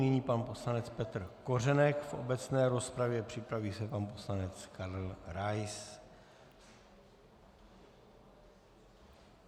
Nyní pan poslanec Petr Kořenek v obecné rozpravě, připraví se pan poslanec Karel Rais.